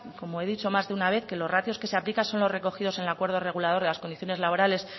como he dicho más de una vez que los ratios que se aplican son los recogidos en el acuerdo regulador de las condiciones laborales